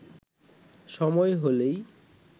সময় হলেই